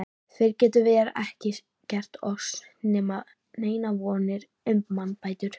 Fyrr getum vér ekki gert oss neinar vonir um mannbætur.